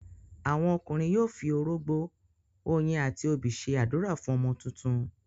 àwọn ọkùnrin yóò fi orógbó, oyin àti obì ṣe ádùrá fún ọmọ tuntun.